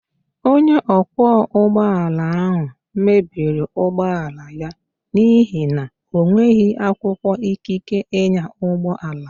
Onye ọkwọ ụgbọala ahụ mebiri ụgbọala ya n'ihi na o nweghị akwụkwọ ikike ịnya ụgbọala